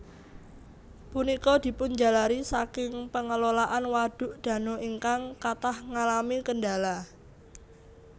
Punika dipunjalari saking pengelolaan waduk dano ingkang kathah ngalami kendala